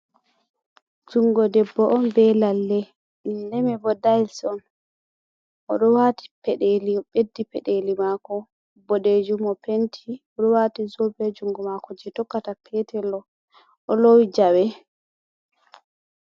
Jungo debbo on be lalle, lalle mai bo dails on oɗo wati peɗeli o ɓeddi peɗeli mako boɗɗejum o penti oɗowati zobe jungo mako je tokkata petel ɗo oɗo lowi jawe.